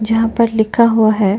जहाँ पर लिखा हुआ है।